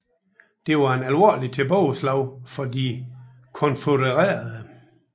Det var et alvorligt tilbageslag for de konfødererede